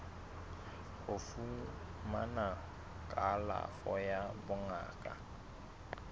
ho fumana kalafo ya bongaka